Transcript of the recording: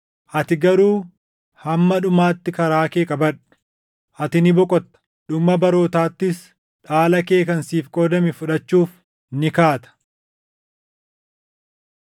“Ati garuu hamma dhumaatti karaa kee qabadhu. Ati ni boqotta; dhuma barootaattis dhaala kee kan siif qoodame fudhachuuf ni kaata.”